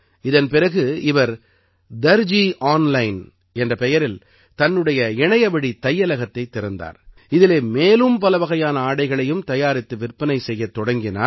இதன் பிறகு இவர் தர்ஜீ ஆன்லைன் என்ற பெயரில் தன்னுடைய இணையவழித் தையலகத்தைத் திறந்தார் இதிலே மேலும் பலவகையான ஆடைகளையும் தயாரித்து விற்பனை செய்யத் தொடங்கினார்